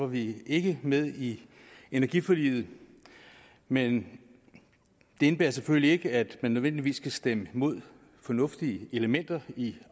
vi ikke med i energiforliget men det indebærer selvfølgelig ikke at man nødvendigvis skal stemme imod fornuftige elementer i